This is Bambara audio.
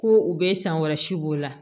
Ko u be sankɔrɔsi b'o la